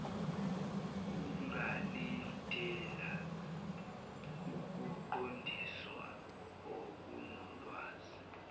ungalindela ukuqondiswa okunolwazi